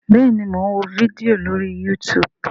bẹẹni, Mọ n wó fídíò lórí youtube